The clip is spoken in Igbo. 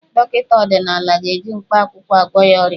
Dọkịta ọdịnala ga-eji mkpaakwụkwọ agwọ ya ọrịa.